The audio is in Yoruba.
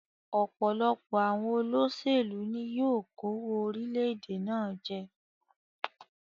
Òpòlopò àwon olósèlú ni yio kówó orílẹ̀dè náà je